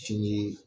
Fini